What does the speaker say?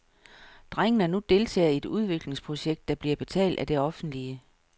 Drengene er nu deltagere i et udviklingsprojekt, der bliver betalt af det offentlige.